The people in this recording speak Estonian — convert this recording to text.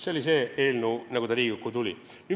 Selline oli eelnõu, kui ta Riigikokku tuli.